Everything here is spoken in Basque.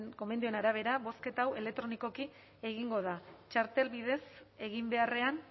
gomendioen arabera bozketa hau elektronikoki egingo da txartelen bidez egin beharrean